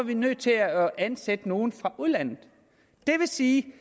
de nødt til at ansætte nogle fra udlandet det vil sige